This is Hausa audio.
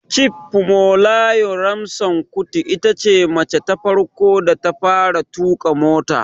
Chief Fumilayo Ransome Kuti itace mace ta farko da ta fara tuƙa mota